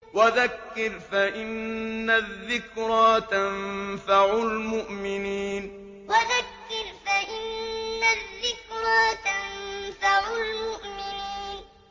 وَذَكِّرْ فَإِنَّ الذِّكْرَىٰ تَنفَعُ الْمُؤْمِنِينَ وَذَكِّرْ فَإِنَّ الذِّكْرَىٰ تَنفَعُ الْمُؤْمِنِينَ